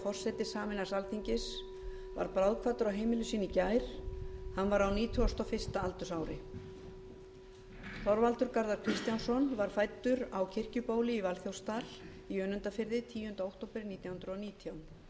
forseti sameinaðs alþingis varð bráðkvaddur á heimili sínu í gær hann var á nítugasta og fyrsta aldursári þorvaldur garðar kristjánsson var fæddur á kirkjubóli í valþjófsdal í önundarfirði tíunda október nítján hundruð og nítján